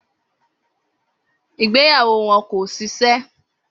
Igbeyawo wọn kò ṣiṣẹ